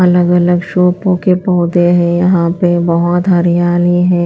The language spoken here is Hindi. अलग-अलग शो पो कें पौधे है यहाँ पे बहोत हरियाली है।